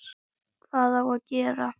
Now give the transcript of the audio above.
Hvað á gera?